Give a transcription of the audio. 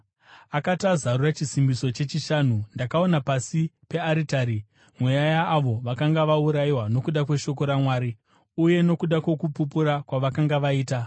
Akati azarura chisimbiso chechishanu, ndakaona pasi pearitari mweya yaavo vakanga vaurayiwa nokuda kweshoko raMwari uye nokuda kwokupupura kwavakanga vaita.